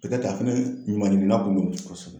Petɛt'a fɛnɛ ɲuman ɲinina kun don. Kosɛbɛ.